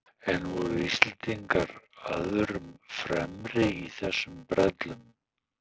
En voru Íslendingar öðrum fremri í þessum brellum?